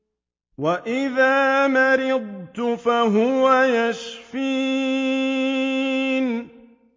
وَإِذَا مَرِضْتُ فَهُوَ يَشْفِينِ